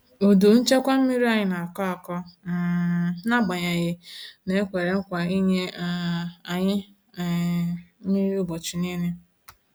Udu nchekwa mmiri anyị na-akọ akọ um n'agbanyeghị na e kwere nkwa inye um anyi um mmiri ubọchi nile.